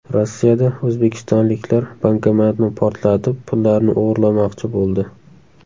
Rossiyada o‘zbekistonliklar bankomatni portlatib, pullarni o‘g‘irlamoqchi bo‘ldi.